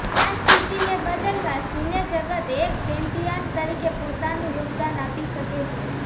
આ સ્થિતિને બદલવા સિનેજગત એક ચેમ્પિયન તરીકે પોતાનું યોગદાન આપી શકે છે